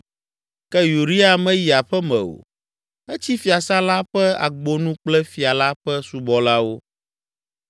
Ke Uria meyi aƒe me o; etsi fiasã la ƒe agbonu kple fia la ƒe subɔlawo.